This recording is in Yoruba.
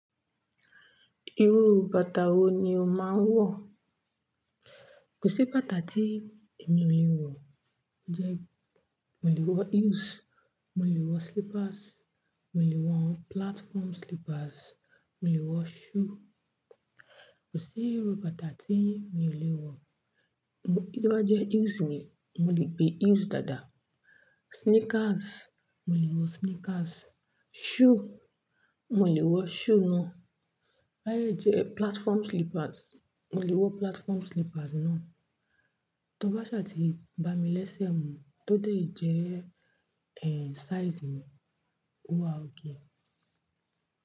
Irú bàtà wo ni o máa ń wọ̀? Kò sí bàtà tí emi ò lè wọ̀. Ó jẹ́ mo lè wọ heels, mo lè wọ slippers, mo lè wọ platform slippers, mo lè wọ shoe. Kò sí irú bàtà tí mi ò lè wọ̀. Bí bá jẹ́ heels ni, mo lè gbe heels dáadáa. Sneakers, mo lè wọ sneakers. Shoe, mo lè wọ shoe ná. Báyìí jẹ́ platform slippers, mo lè wọ platform slippers ná. Tó bá ṣàti bá mi léṣẹ́ mu, tó dé jẹ́, ẹ, size mi, ó wa okay.